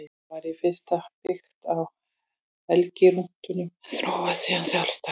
Það var í fyrstu byggt á helgirúnunum en þróaðist síðan sjálfstætt.